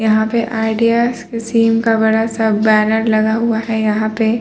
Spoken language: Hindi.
यहां पे आयडिया स सिम का बड़ा सा बैनर लगा हुआ हैं यहां पे।